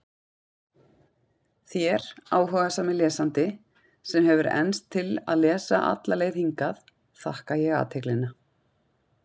Þér, áhugasami lesandi, sem hefur enst til að lesa alla leið hingað, þakka ég athyglina.